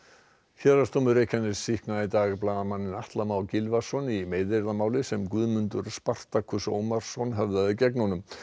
héraðsdómur Reykjaness sýknaði í dag blaðamanninn Atla Má Gylfason í meiðyrðamáli sem Guðmundur Ómarsson höfðaði gegn honum